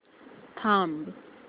थांब